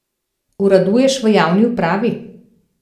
Uraduješ v javni upravi!